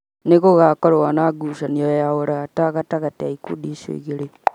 Nĩ gũgakorũo na ngucanio ya ũrata gatagatĩ ka ikundi icio igĩrĩ